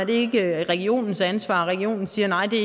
det ikke regionens ansvar og at regionen siger nej der